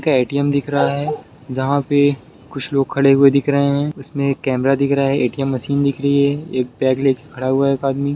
एक ए_टी_एम दिख रहा है जहाँ पे कुछ लोग खड़े हुए दिख रहे है उसमे एक कैमरा दिख रहा है ए_टी_एम मशीन दिख रही है एक बैग लेके खड़ा हुआ है एक आदमी।